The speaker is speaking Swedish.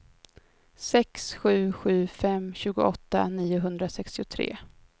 sex sju sju fem tjugoåtta niohundrasextiotre